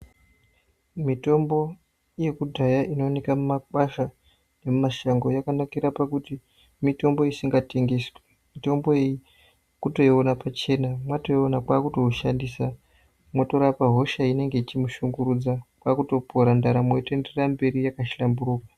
Mitombo yekudhaya inooneka mumakwasha nemumashango yakanakira pakuti mitombo isinga tengeswi. Mitombo iyi kutoiona pachena mwatoiona kwakutoushandisa motorapa hosha inenge ichimushungurudza kwakutopora ndaramo yotoenderera mberi yakahlamburuka.